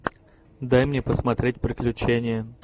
дай мне посмотреть приключения